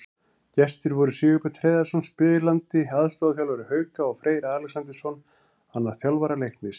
Gestir voru Sigurbjörn Hreiðarsson, spilandi aðstoðarþjálfari Hauka, og Freyr Alexandersson, annar þjálfara Leiknis.